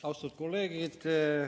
Austatud kolleegid!